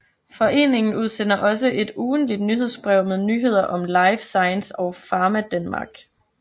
Foreningen udsender også et ugentligt nyhedsbrev med nyheder om life science og Pharmadanmark